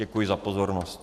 Děkuji za pozornost.